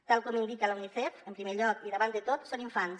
tal com indica l’unicef en primer lloc i davant de tot són infants